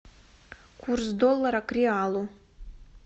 курс доллара к реалу